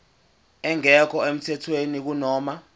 engekho emthethweni kunoma